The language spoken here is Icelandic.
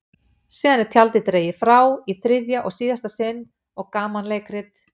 Síðan er tjaldið dregið frá í þriðja og síðasta sinn og gamanleikrit